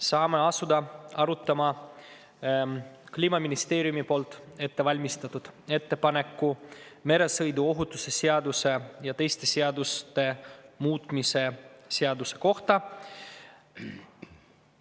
Saame asuda arutama Kliimaministeeriumis ette valmistatud ettepanekut meresõiduohutuse seaduse ja teiste seaduste muutmise seaduse kohta.